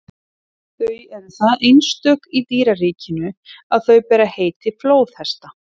þau eru það einstök í dýraríkinu að þau bera heiti flóðhesta